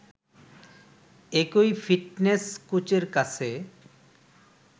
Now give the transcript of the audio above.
একই ফিটনেস কোচের কাছে